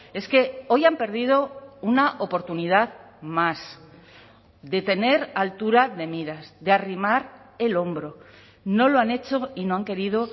es que hoy han perdido una oportunidad más de tener altura de miras de arrimar el hombro no lo han hecho y no han querido